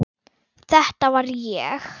Þetta var ég.